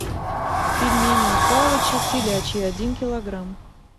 пельмени у палыча телячьи один килограмм